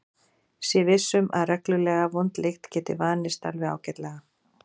Sé viss um að reglulega vond lykt geti vanist alveg ágætlega.